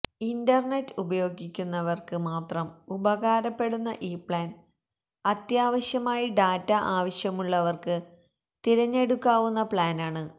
internet ഉപയോഗിക്കുന്നവർക്ക് മാത്രം ഉപകാരപ്പെടുന്ന ഈ പ്ലാൻ അത്യാവശ്യമായി ഡാറ്റ ആവശ്യമുള്ളവർക്ക് തിരഞ്ഞെടുക്കാവുന്ന പ്ലാനാണ്